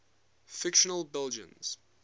fictional belgians